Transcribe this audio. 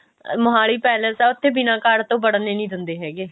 Mohali palace ਆ ਉੱਥੇ ਬਿਨਾਂ card ਤੋਂ ਵੜਨ ਹੀ ਨਹੀਂ ਦਿੰਦੇ ਹੈਗੇ